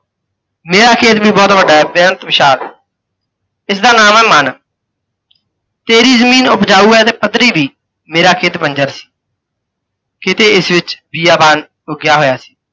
ਮੇਰਾ ਖੇਤ ਵੀ ਬਹੁਤ ਵੱਡਾ ਹੈ ਬੇਅੰਤ ਵਿਸ਼ਾਲ, ਇਸਦਾ ਨਾਮ ਹੈ ਮਨ। ਤੇਰੀ ਜ਼ਮੀਨ ਉਪਜਾਊ ਹੈ ਤੇ ਪੱਧਰੀ ਵੀ, ਮੇਰਾ ਖੇਤ ਬੰਜਰ ਸੀ। ਕਿਤੇ ਇਸ ਵਿੱਚ ਬੀਆਬਾਨ ਉੱਗਿੱਆ ਹੋਇਆ ਸੀ,